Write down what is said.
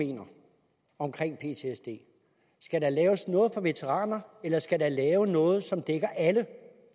mener om ptsd skal der laves noget for veteraner eller skal der laves noget som det dækker alle